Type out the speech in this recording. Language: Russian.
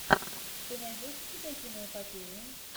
ты найдешь у себя киноэпопею